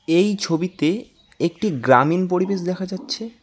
এই ছবিতে একটি গ্রামীণ পরিবেশ দেখা যাচ্ছে।